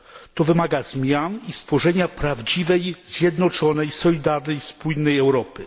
To wymaga zmian i stworzenia prawdziwej, zjednoczonej, solidarnej, spójnej Europy.